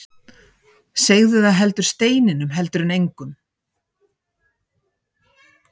Segðu það heldur steininum heldur en engum.